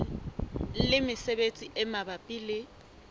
le mesebetsi e mabapi le